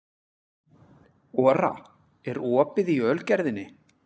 Ora, er opið í Ölgerðinni?